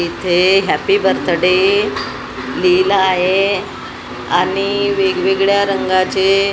इथे happy birthday लिहिलं आहे आणि वेगवेळ्या रंगाचे --